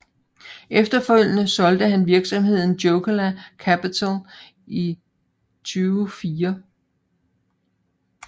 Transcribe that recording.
Efterfølgende solgte han virksomheden Jokela Capital i 2004